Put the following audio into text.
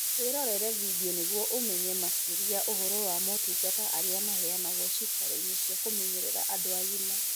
Wĩrorere bindiũ nĩguo ũmenye makĩria ũhoro wa motũngata arĩa maheanagwo ciĩkaro-inĩ cia kũmenyerera andũ agima.